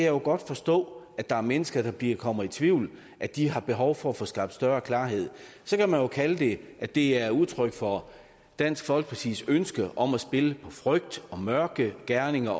jo godt forstå at der er mennesker der kommer i tvivl og at de har behov for at få skabt større klarhed så kan man jo kalde det at det er et udtryk for dansk folkepartis ønske om at spille på frygt og mørke gerninger